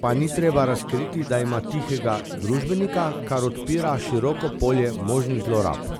pa ni treba razkriti, da ima tihega družbenika, kar odpira široko polje možnih zlorab.